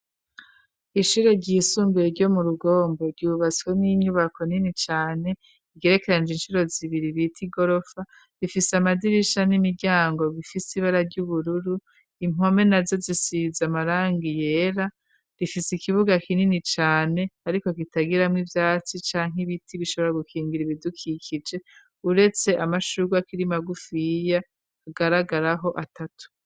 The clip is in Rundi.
Ishure ryisumbuye ryo mu rugombo ryubatswe n'inyubako nini cane igerekeranje incuro zibiri bita i gorofa rifise amadirisha n'imiryango bifise ibara ry'ubururu impome na zo zisiza amaranga yera rifise ikibuga kinini cane, ariko kitagiramwo ivyatsi canke ibitiba ra gukingira ibidukikije uretse amashurwa kirimagufyiya agaragaraho atatu.